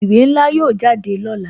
Ìwé ńlá yóò jáde lọ́la